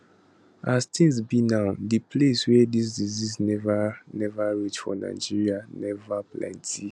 as tins be now di places wia dis disease neva neva reach for nigeria neva plenty